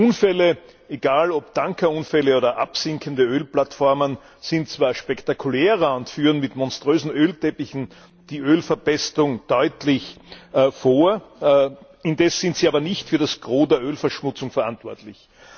Unfälle egal, ob Tankerunfälle oder absinkende Ölplattformen sind zwar spektakulärer und führen mit monströsen Ölteppichen die Ölverpestung deutlich vor, indes sind sie aber nicht für das Gros der Ölverschmutzung verantwortlich.